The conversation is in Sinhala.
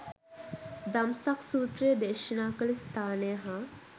දම්සක් සූත්‍රය දේශනා කළ ස්ථානය හා